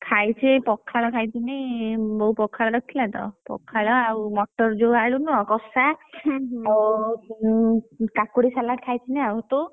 ଖାଇଛି ଏଇ ପଖାଳ ଖାଇଥିଲି, ବୋଉ ପଖାଳ ରଖିଥିଲା ତ, ପଖାଳ ଆଉ ମଟର ଯୋଉ ଆଳୁ ନୁହେଁ, କଶା କାକୁଡି salad ଖାଇଥିଲି ଆଉ ତୁ?